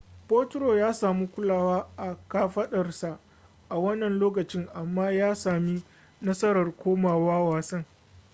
potro ya sami kulawa a kafadarsa a wannan lokacin amma ya sami nasarar komawa wasan